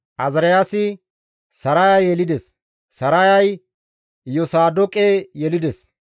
Azaariyaasi Saraya yelides; Sarayay Iyosaadoqe yelides.